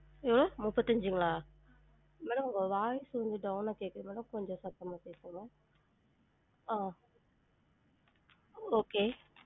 அஹ் முப்பத்தி அஞ்சுங்களா? madam உங்க voice down ஆ கேக்குது madam கொஞ்சம் சத்தமா பேசுங்க ஆஹ் okay